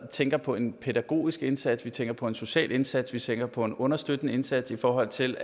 tænker på en pædagogisk indsats at vi tænker på en social indsats at vi tænker på en understøttende indsats i forhold til